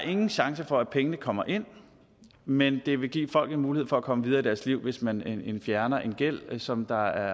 ingen chance er for at pengene kommer ind men det vil give folk en mulighed for at komme videre i deres liv hvis man fjerner en gæld som der